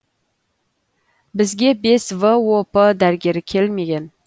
бізге бес воп дәрігері келмеген